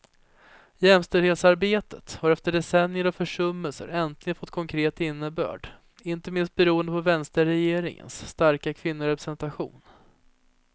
Jämställdhetsarbetet har efter decennier av försummelser äntligen fått konkret innebörd, inte minst beroende på vänsterregeringens starka kvinnorepresentation.